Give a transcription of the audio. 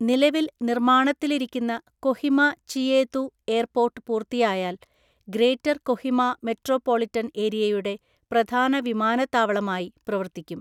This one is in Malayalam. നിലവിൽ നിർമ്മാണത്തിലിരിക്കുന്ന കൊഹിമ ചിയേതു എയർപോർട്ട് പൂർത്തിയായാൽ ഗ്രേറ്റർ കൊഹിമ മെട്രോപൊളിറ്റൻ ഏരിയയുടെ പ്രധാന വിമാനത്താവളമായി പ്രവർത്തിക്കും.